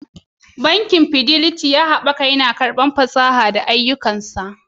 Bankin Fidelity, ya ci gaba da haɓakawa, yana karɓar fasaha da haɓaka ayyukansa